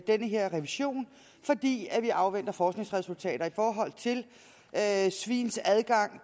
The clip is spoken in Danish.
den her revision fordi vi afventer forskningsresultater i forhold til svins adgang